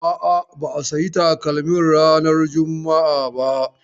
A'a, ba a sayi takalmin ranan juma'a ba.